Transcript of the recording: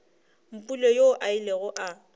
mpule yoo a ilego a